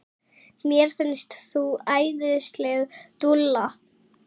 Mér finnst þú æðisleg dúlla!